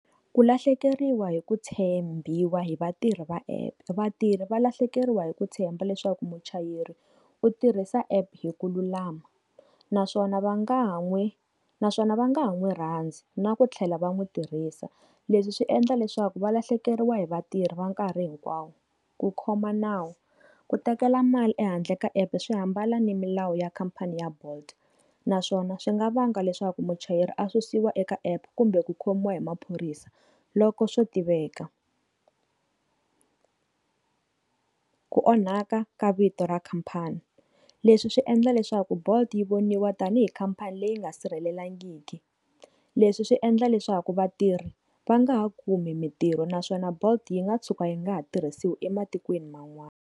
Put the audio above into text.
Ku lahlekeriwa hi ku tshembiwa hi vatirhi va app vatirhi va lahlekeriwa hi ku tshemba leswaku muchayeri u tirhisa app hi ku lulama naswona va nga n'wi naswona va nga ha n'wi rhandzi na ku tlhela va n'wi tirhisa leswi swi endla leswaku valahlekeriwa hi vatirhi va nkarhi hinkwawo ku khoma nawu ku tekela mali ehandle ka app swi hambana ni milawu ya khampani ya bolt naswona swi nga vanga leswaku muchayeri a susiwa eka app kumbe ku khomiwa hi maphorisa loko swo tiveka ku onhaka ka vito ra khampani leswi swi endla leswaku bolt yi voniwa tanihi khampani leyi nga sirhelelangiki leswi swi endla leswaku vatirhi va nga ha kumi mintirho naswona bolt yi nga tshuka yi nga ha tirhisiwi ematikweni man'wana.